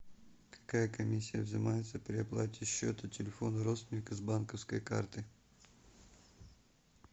какая комиссия взимается при оплате счета телефона родственника с банковской карты